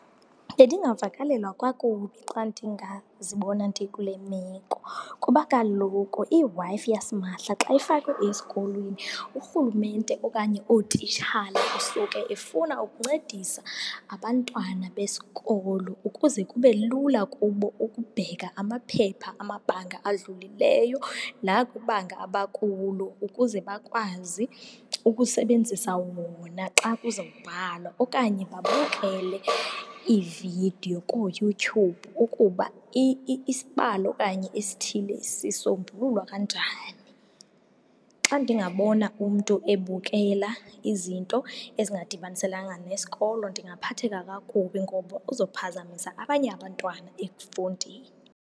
Bendingavakalelwa kakubi xa ndingazibona ndikule meko. Kuba kaloku iWi-Fi yasimahla xa ifakwe esikolweni urhulumente okanye ootitshala kusuke efuna ukuncedisa abantwana besikolo ukuze kube lula kubo ukubheka amaphepha amabanga adlulileyo nakwibanga abakulo ukuze bakwazi ukusebenzisa wona xa kuzawubhalwa, okanye babukele iividiyo kuYouTube ukuba isibalo okanye isithile sisombululwa kanjani. Xa ndingabona umntu ebukela izinto ezingadibaniselanga nesikolo ndingaphatheka kakubi ngoba uzophazamisa abanye abantwana ekufundeni.